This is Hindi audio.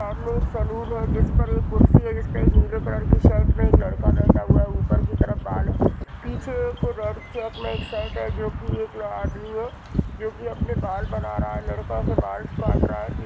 सामने एक सलून है जिस पर एक खुर्शी जिसपे एक नील कलर की शर्ट पहने एक लड़का बैठा है ऊपर की तरफ बाल है पीछे की तरफ एक रेड चेक में एक शर्ट है जो की एक आदमी है जो की अपने बाल बना रहा है लड़का के बाल काट रहा है।